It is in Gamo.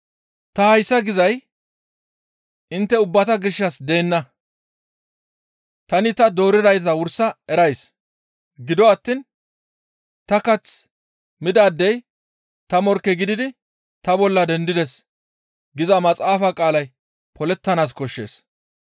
«Ta hayssa gizay intte ubbata gishshas deenna; tani ta dooridayta wursa erays; gido attiin, ‹Ta kath midaadey ta morkke gididi ta bolla dendides› giza maxaafa qaalay polettanaas koshshees.